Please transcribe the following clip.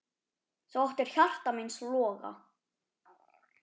Þú áttir hjarta míns loga.